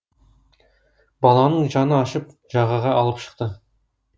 баланың жаны ашып жағаға алып шықты